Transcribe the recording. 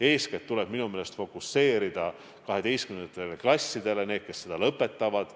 Eeskätt tuleb minu meelest tähelepanu fookustada 12. klassidele – neile, kes kooli lõpetavad.